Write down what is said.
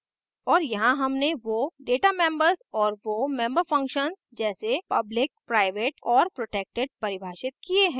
और यहाँ हमने वो data members और वो member functions जैसे public प्राइवेट और protected परिभाषित किये हैं